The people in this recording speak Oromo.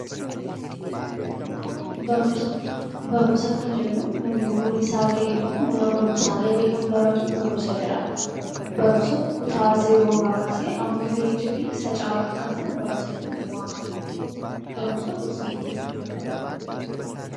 Barumsa kan jennu namni umriinsaa gahe tokko mana barumsaa galee kan baratu barumsa jedhama. Barumsa kutaa zeeroodhaa kaasee hamma PhD fi isa caalutti kan jiru barumsa jennee waamna. Barumsi gosa hedduutu jira.